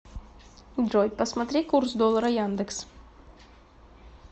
джой посмотри курс доллара яндекс